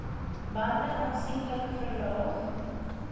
bande aansienlik verlaag